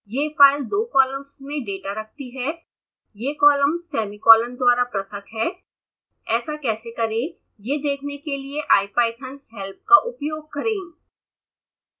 यह फाइल दो कॉलम्स में डेटा रखती है ये कॉलम्स सेमीकॉलन्स द्वारा पृथक हैं ऐसा कैसे करें यह देखने के लिए ipythonहेल्प का उपयोग करें